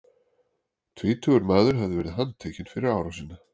Tvítugur maður hefur verið handtekinn fyrir árásina.